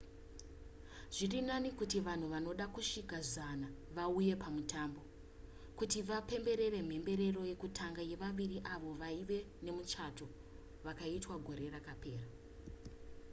zviri nani kuti vanhu vanoda kusvika 100 vauya pamutambo kuti vapemberere mhemberero yekutanga yevaviri avo vaive nemuchato vakaitwa gore rakapera